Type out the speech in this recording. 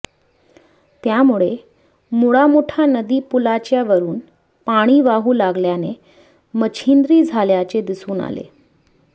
त्यामुळे मुळा मुठा नदी पुलाच्या वरून पाणी वाहू लागल्याने मच्छिंद्री झाल्याचे दिसून आले